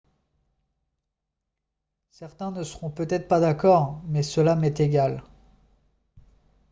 « certains ne seront peut-être pas d'accord mais cela m'est égal